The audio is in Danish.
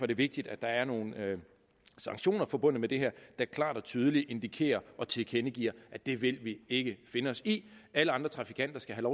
det vigtigt at der er nogle sanktioner forbundet med det her der klart og tydeligt indikerer og tilkendegiver at det vil vi ikke finde os i alle andre trafikanter skal have